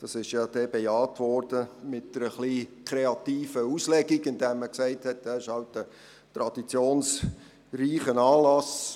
Diese Frage wurde dann mit einer etwas kreativen Auslegung bejaht, indem man sagte, es handle sich um einen traditionsreichen Anlass.